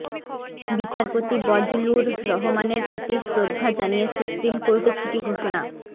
বিচারপতি বজলুর রহমানের প্রতি শ্রদ্ধা জানিয়ে সুপ্রিম কোর্টে ছুটি ঘোষণা